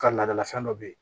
Ka laadala fɛn dɔ bɛ yen